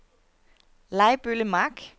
Lejbølle Mark